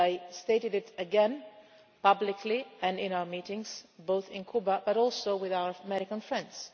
I have stated it again, publicly and in our meetings, both in Cuba and with our American friends.